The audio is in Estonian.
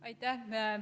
Aitäh!